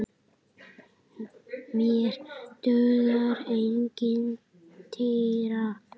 Mér dugar engin týra!